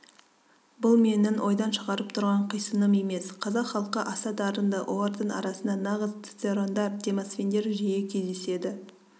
бұл менің ойдан шығарып тұрған қисыным емес қазақ халқы аса дарынды олардың арасында нағыз цицерондар демосфендер жиі кездеседі